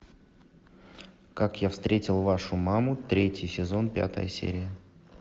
как я встретил вашу маму третий сезон пятая серия